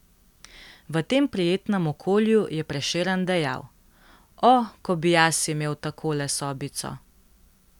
V tem prijetnem okolju je Prešeren dejal: 'O, ko bi jaz imel takole sobico!